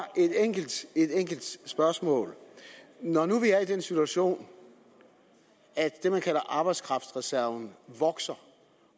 et enkelt spørgsmål når nu vi er i den situation at det man kalder arbejdskraftreserven vokser